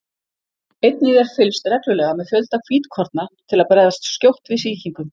Einnig er fylgst reglulega með fjölda hvítkorna til að bregðast skjótt við sýkingum.